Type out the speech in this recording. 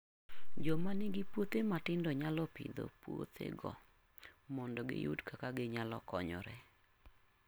Joma nigi puothe matindo nyalo pidho puothego mondo giyud kaka ginyalo konyore.